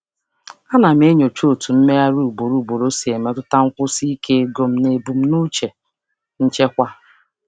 Ana m enyocha ka mgbagharị ugboro ugboro si emetụta nkwụsi ike ego m na ebumnuche nchekwa m.